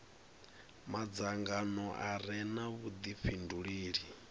madzangano a re na vhudifhinduleli